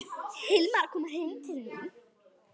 Hilmar kom heim til mín.